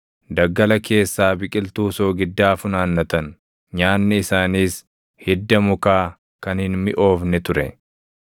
Daggala keessaa biqiltuu soogiddaa funaannatan; nyaanni isaaniis hidda mukaa kan hin miʼoofne ture.